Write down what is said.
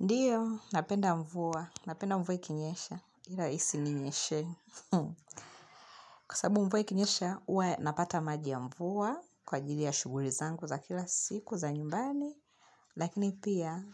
Ndiyo, napenda mvua, napenda mvua ikinyesha, ila isininyeshee. Kwa sababu mvua ikinyesha, huwa napata maji ya mvua kwa ajili ya shughuri zangu za kila siku za nyumbani. Lakini pia,